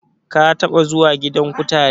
Ka taɓa zuwa gidan kutare?